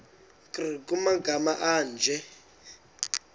nkr kumagama anje